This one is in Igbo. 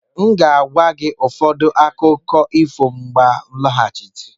M ga-agwa gị ụfọdụ akụkọ ifo mgbe m lọghachiri.